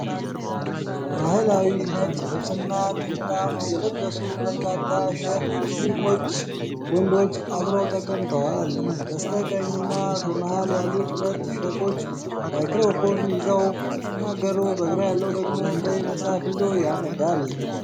ባህላዊ ነጭ ልብስና ጥምጣም የለበሱ በርካታ ሼክ ሙስሊም ወንዶች አብረው ተቀምጠዋል። በስተቀኝና በመሃል ያሉት ሁለት ሼኮች ማይክሮፎን ይዘው ሲናገሩ፣ በግራ ያለው ደግሞ ቀይ መጽሐፍ ይዞ ያነባል።